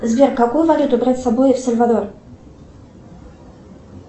сбер какую валюту брать с собой в сальвадор